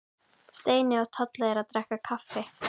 Steini og Tolli eru að drekka kaffi.